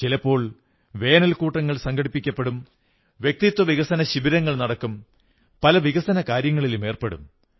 ചിലപ്പോൾ വേനൽക്കൂട്ടങ്ങൾ സംഘടിപ്പിക്കപ്പെടും വ്യക്തിത്വ വികസന ശിബിരങ്ങൾ നടക്കും പല വികസന കാര്യങ്ങളിലും ഏർപ്പെടും